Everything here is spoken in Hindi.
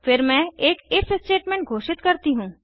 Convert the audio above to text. फिर मैं एक इफ स्टेटमेंट घोषित करती हूँ